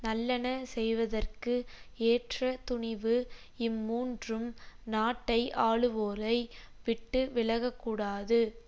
நல்லன செய்வதற்கு ஏற்ற துணிவு இம்மூன்றும் நாட்டை ஆளுவோரை விட்டு விலக கூடாது